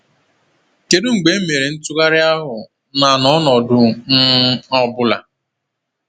Kedu mgbe e mere ntụgharị ahụ, na n’ọnọdụ um ọ̀ bụla?